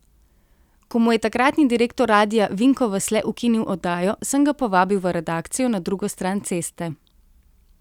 Ko mu je takratni direktor Radia Vinko Vasle ukinil oddajo, sem ga povabil v redakcijo na drugo stran ceste.